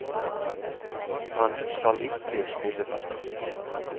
Han skal ikke spille fra start.